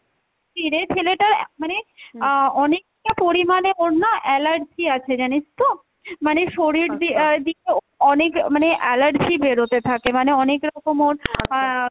ছেলেটার মানে আহ অনেকটা পরিমাণে ওর না allergy আছে জানিস তো, মানে শরীর অনেক মানে allergy বেরোতে থাকে মানে অনেক রকম ওর আহ